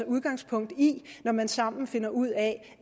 udgangspunkt i når man sammen finder ud af